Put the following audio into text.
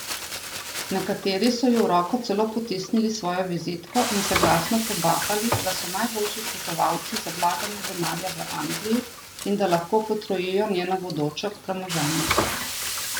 Nekateri so ji v roko celo potisnili svojo vizitko in se glasno pobahali, da so najboljši svetovalci za vlaganje denarja v Angliji in da lahko potrojijo njeno bodoče premoženje.